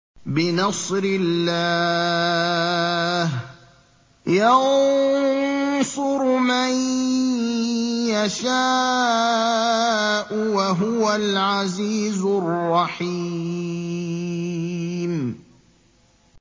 بِنَصْرِ اللَّهِ ۚ يَنصُرُ مَن يَشَاءُ ۖ وَهُوَ الْعَزِيزُ الرَّحِيمُ